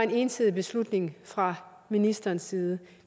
ensidig beslutning fra ministerens side